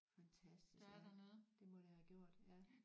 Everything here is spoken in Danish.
Fantastisk ja det må det have gjort ja